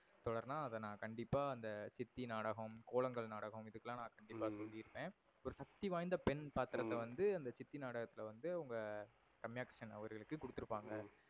தொடர்நா அத கண்டிப்பா நா சித்தி நாடகம், கோலங்கள் நாடகம் இதுக்குலாம் நா கண்டிப்பா சொல்லி இருப்பன். ஒரு சக்திவாய்ந்த பெண் பாத்திரத்த வந்து அந்த சித்தி நாடகத்துல வந்து அவங்க ரம்யா கிருஷ்ணன் அவர்களுக்கு கொடுத்து இருபாங்க.